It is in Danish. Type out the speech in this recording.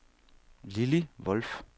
Lilly Wolff